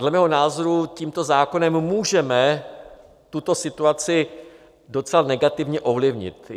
Dle mého názoru tímto zákonem můžeme tuto situaci docela negativně ovlivnit.